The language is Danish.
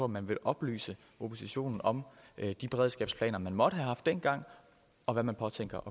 man vil oplyse oppositionen om de beredskabsplaner man måtte have haft dengang og hvad man påtænker